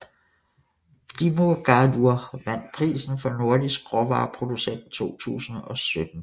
Dímunargarður vandt prisen for Nordisk råvareproducent 2017